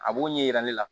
A b'o ɲɛ yira ne la